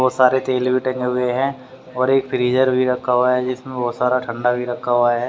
बहोत सारे तेल भी टंगे हुए हैं और एक फ्रीजर भी रखा हुआ है जिसमे बहुत सारा ठंडा भी रखा हुआ है।